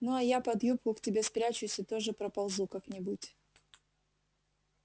ну а я под юбку к тебе спрячусь и тоже проползу как-нибудь